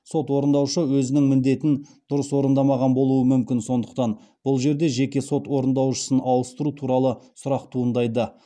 сот орындаушы өзінің міндетін дұрыс орындамаған болуы мүмкін сондықтан бұл жерде жеке сот орындаушысын ауыстыру туралы сұрақ туындайды